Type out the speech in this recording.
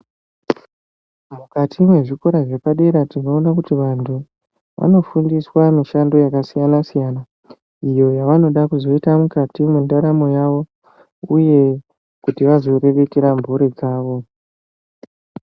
Mukati mwezvikora zvepadera tinoona kuti vantu vanofundiswa mishando yakasiyana siyana iyo yavanoda kuzoita mukati mwendaramo yavo uye kuti vazoriritira mburi dzavo.